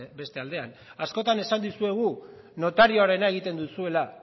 beste aldean askotan esan dizuegu notarioarena egiten duzuela